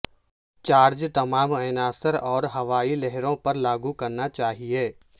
charge تمام عناصر اور ہوائی لہروں پر لاگو کرنا چاہئے